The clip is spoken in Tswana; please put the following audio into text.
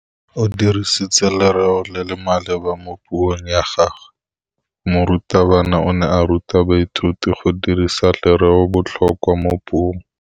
O dirisitse lerêo le le maleba mo puông ya gagwe. Morutabana o ne a ruta baithuti go dirisa lêrêôbotlhôkwa mo puong.